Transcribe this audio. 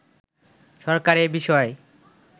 সরকার এ বিষয়ে